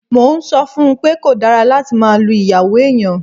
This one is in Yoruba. Mo ń sọ fún un pé kò dára láti máa lu ìyàwó èèyàn